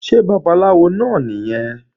Ṣé babaláwo náà nìyẹn?